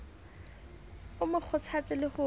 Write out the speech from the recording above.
o mo kgothatse le ho